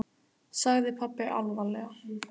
sagði pabbi alvarlega.